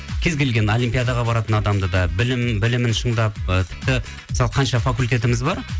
кез келген олимпиадаға баратын адамды да білімін шыңдап ы тіпті мысалы қанша факультетіміз бар